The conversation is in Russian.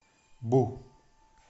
бу